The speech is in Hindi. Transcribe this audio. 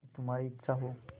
यदि तुम्हारी इच्छा हो